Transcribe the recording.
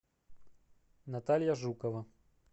наталья жукова